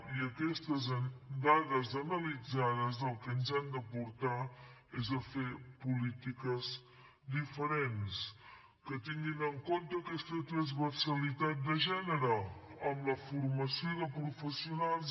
i aquestes dades analitzades al que ens han de portar és a fer polítiques diferents que tinguin en compte aquesta transversalitat de gènere amb la formació de professionals